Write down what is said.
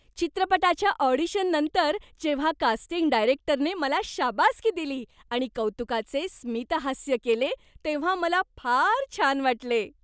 चित्रपटाच्या ऑडिशननंतर जेव्हा कास्टिंग डायरेक्टरने मला शाबासकी दिली आणि कौतुकाचे स्मितहास्य केले तेव्हा मला फार छान वाटले.